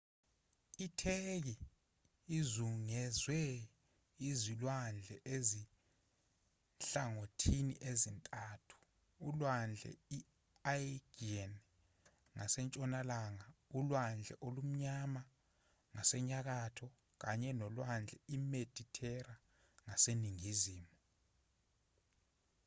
itheki izungezwe izilwandle ezinhlangothini ezintathu ulwandle i-aegean ngasentshonalanga ulwandle olumnyama ngasenyakatho kanye nolwandle imedithera ngaseningizimu